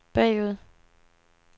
bagud